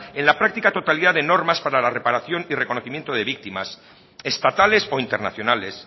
en la práctica totalidad de normas para la reparación y reconocimiento de víctimas estatales o internacionales